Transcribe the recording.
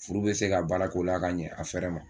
Furu be se ka baarakɛ o la ka ɲɛ a fɛrɛ ma